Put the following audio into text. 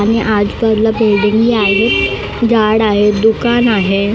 आणि बिल्डिंग ही आहेत झाड आहेत दुकान आहे.